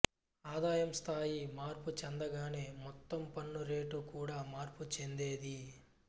ఆదాయం స్థాయి మార్పు చెందగానే మొత్తం పన్ను రేటు కూడా మార్పు చెందేది